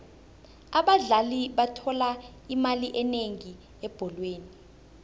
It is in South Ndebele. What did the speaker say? abadlali bathola imali enengi ebholweni